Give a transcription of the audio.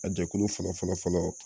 A jɛkulu fɔlɔ fɔlɔ fɔlɔɔ